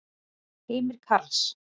Heimir Karls.